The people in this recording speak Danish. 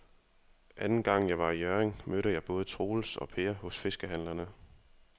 Anden gang jeg var i Hjørring, mødte jeg både Troels og Per hos fiskehandlerne.